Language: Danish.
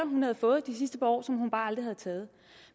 hun havde fået de sidste par år som hun bare aldrig havde taget